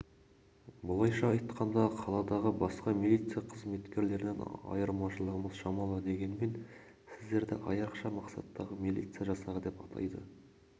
былайша айтқанда қаладағы басқа милиция қызметкерлерінен айырмашылығымыз шамалы дегенмен сіздерді айрықша мақсаттағы милиция жасағы деп атайды